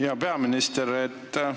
Hea peaminister!